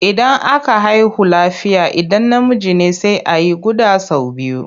Idan aka haihu lafiya idan namiji ne sai a yi guɗa sau biyu.